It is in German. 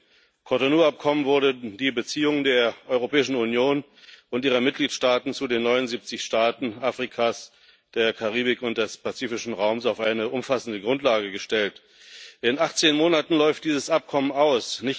Mit dem Cotonou Abkommen wurde die Beziehung der Europäischen Union und ihrer Mitgliedstaaten zu den 79 Staaten Afrikas, der Karibik und des pazifischen Raums auf eine umfassende Grundlage gestellt. In 18 Monaten läuft dieses Abkommen aus.